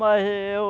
Mas eu...